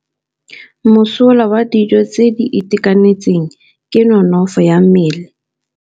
Mosola wa dijô tse di itekanetseng ke nonôfô ya mmele.